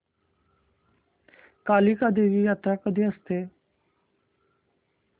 कालिका देवी यात्रा कधी असते